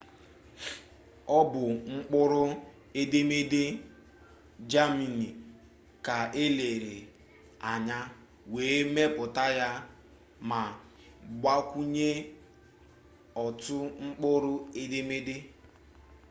ọ bụ mkpụrụ edemede jemani ka elere anya wee mepụta ya ma gbakwunye otu mkpụrụ edemede õ/õ